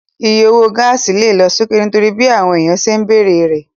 Iye owó gáàsì lè lọ sókè nítorí bí àwọn èèyàn ṣe ń bere rẹ̀